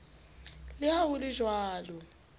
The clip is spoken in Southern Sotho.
le ha ho le jwalo